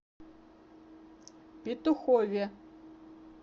петухове